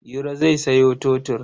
Iro zai sayo totur.